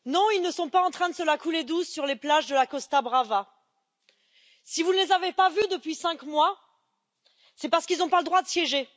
Monsieur le Président, non, ils ne sont pas en train de se la couler douce sur les plages de la Costa Brava. Si vous ne les avez pas vus depuis cinq mois, c'est parce qu'ils n'ont pas le droit de siéger.